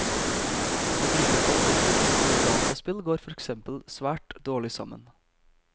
Å drikke alkohol og spille dataspill går for eksempel svært dårlig sammen.